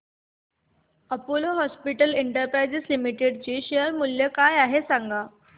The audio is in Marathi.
अपोलो हॉस्पिटल्स एंटरप्राइस लिमिटेड चे शेअर मूल्य काय आहे सांगा